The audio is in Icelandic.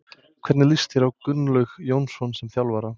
Hvernig líst þér á Gunnlaug Jónsson sem þjálfara?